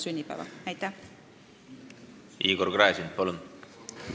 Igor Gräzin, palun!